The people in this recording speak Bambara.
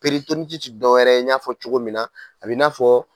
ti dɔ wɛrɛ i ɲ'a fɔ cogo min na a bi n'a fɔ